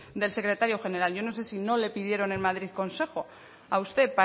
del su secretario general yo no sé si no le pidieron en madrid consejo a usted